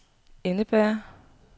indebærer